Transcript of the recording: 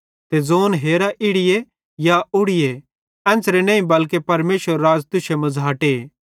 ते ज़ोंन कि हेरा इड़ी या उड़ीए एन्च़रे नईं बल्के परमेशरेरू राज़ तुश्शे मझ़ाटे